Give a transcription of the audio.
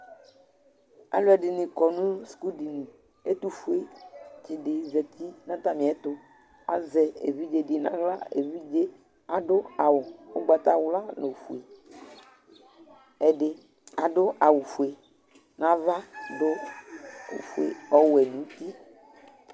Alʊɛdinɩ kɔ nʊ sukʊdinɩ Ɛtʊfuetsɩ di zatɩ natɛmietʊ, azɛ evɩdze nawla Evidze adu awʊ ugbatawla nofue Ɛdi adʊ awʊ fue nava, du ɔwe nutɩ